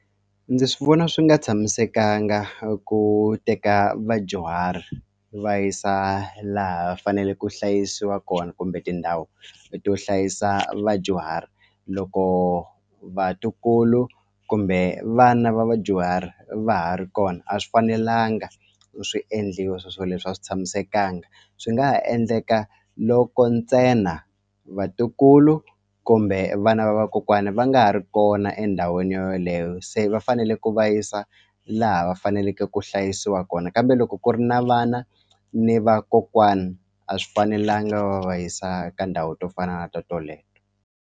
Ndzi swi vona swi nga tshamisekanga ku teka vadyuhari va yisa laha fanele ku hlayisiwa kona kumbe tindhawu leto yo hlayisa vadyuhari loko vatukulu kumbe vana va vadyuhari va ha ri kona a swi fanelanga u swi endliwa swo swo leswo a swi tshamisekanga swi nga ha endleka loko ntsena vatukulu kumbe vana va vakokwani va nga ha ri kona endhawini yo yoleyo se va fanele ku va yisa laha va faneleke ku hlayisiwa kona kambe loko ku ri na vana ni vakokwani a swi fanelangi va va yisa ka ndhawu to fana na to toleto.